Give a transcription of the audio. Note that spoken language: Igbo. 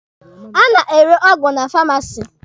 A na-ere ọgwụ na famasi.